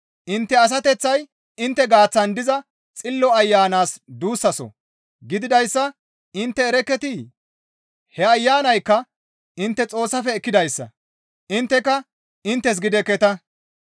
Intte asateththay intte gaaththan diza Xillo Ayanas duussaso gididayssa intte erekketii? He Ayanaykka intte Xoossafe ekkidayssa; intteka inttes gidekketa.